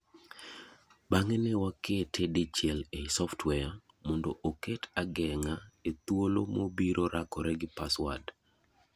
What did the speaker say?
bang'e newa kete dichiel ei software mondo oket ageng'a e thuolo mobiro rakore gi password.